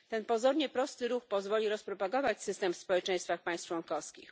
Ten pozornie prosty ruch pozwoli rozpropagować system w społeczeństwach państw członkowskich.